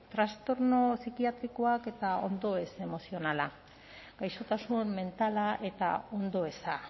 trastorno psikiatrikoak eta ondoeza emozionala gaixotasun mentala eta ondoeza